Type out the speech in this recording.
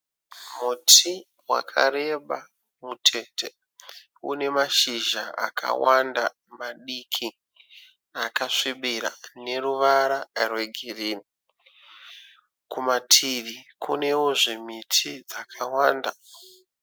Muti wakareba mutete. Une mashizha akawanda madiki akasvibira aneruvara rwegirini. Kumativi kunewozve miti dzakawanda.